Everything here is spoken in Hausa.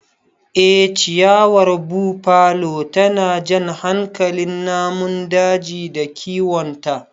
Ee ciyawar Buffalo tana jan hankalin namun daji da kiwonta.